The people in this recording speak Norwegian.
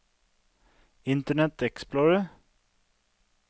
internet explorer